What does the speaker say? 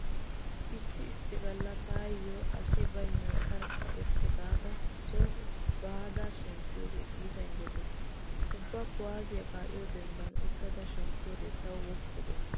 Issi issi galla taayho asi baynnan tarkka irxxi giida soha ba shemppiyogee iita injjetees. Ubba kuwaassiya kaa'iyo dembban utta shemppiyode tawu woppu gees.